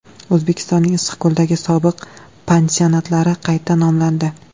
O‘zbekistonning Issiqko‘ldagi sobiq pansionatlari qayta nomlandi.